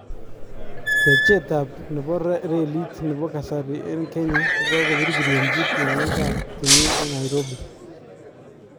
Techeechab nebo reeliit nebo kasarii en Kenya kokabirbiryenchi tyong'ikab timin en Nairobi